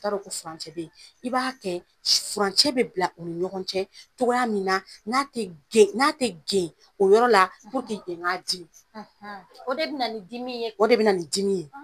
I ta dɔn ko furancɛ ne yen . I b'a kɛ furancɛ bɛ bila u ni ɲɔgɔn cɛ cogoya min na, n'a tɛ gen o yɔrɔ la yen ka dimi . O de bɛ na ni dimi ye.